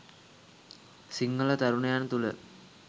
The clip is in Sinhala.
සිංහල තරුණයන් තුළ